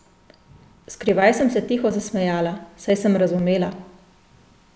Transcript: Skrivaj sem se tiho zasmejala, saj sem razumela.